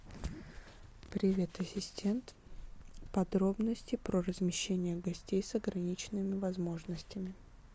привет ассистент подробности про размещение гостей с ограниченными возможностями